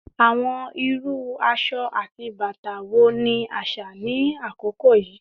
Awọn iru aṣọ ati bata wo ni aṣa ni akoko yii?